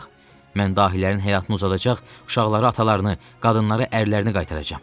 Mən dahilərin həyatını uzadacaq, uşaqlara atalarını, qadınlara ərlərini qaytaracam.